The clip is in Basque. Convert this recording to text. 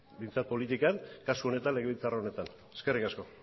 behintzat politikan kasu legebiltzar honetan eskerrik asko